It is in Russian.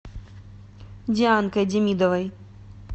дианкой демидовой